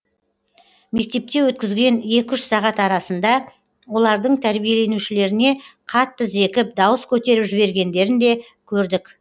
мектепте өткізген екі үш сағат арасында олардың тәрбиеленушілеріне қатты зекіп дауыс көтеріп жібергендерін де көрдік